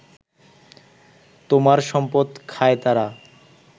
তোমার সম্পদ খায় তারা